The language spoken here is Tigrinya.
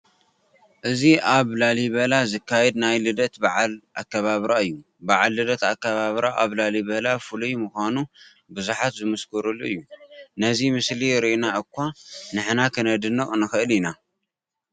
እዚ ኣብ ላሊበላ ዝካየድ ናይ ልደት በዓል ኣከባብራ እዩ፡፡ በዓል ልደት ኣከባብራ ኣብ ላሊበላ ፍሉይ ምዃኑ ብዙሓት ዝምስክሩሉ እዩ፡፡ ነዚ ምስሊ ርኢና እዃ ንሕና ክነድንቕ ንኽእል ኢና፡፡